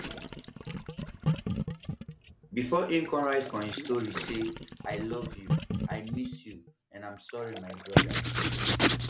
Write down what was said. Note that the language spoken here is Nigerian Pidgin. bifor im come write for im stories say i love you i miss you and i am sorry my brother